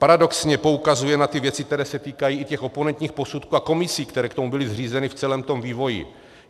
Paradoxně poukazuje na ty věci, které se týkají i těch oponentních posudků a komisí, které k tomu byly zřízeny v celém tom vývoji.